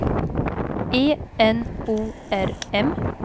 E N O R M